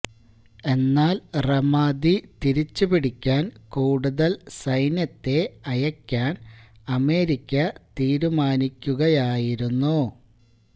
എന്നാല് റമാദി തിരിച്ചുപിടിക്കാന് കൂടുതല് സൈന്യത്തെ അയക്കാന് അമേരിക്ക തീരുമാനിക്കുകയായിരുന്നു